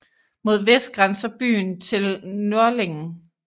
Mod vest grænser byen til Nördlingen